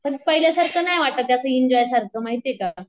पण पाहिल्यासारखं नाही वाटत असं एन्जॉय सारखं माहितीये का.